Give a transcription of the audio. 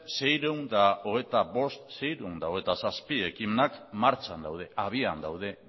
seiehun eta hogeita bost seiehun eta hogeita zazpi ekimenak martxan daude habian daude